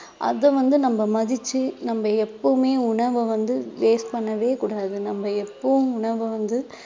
அதை வந்து நம்ம மதிச்சு நம்ம எப்பவுமே உணவை வந்து waste பண்ணவே கூடாது நம்ம எப்பவும் உணவை வந்து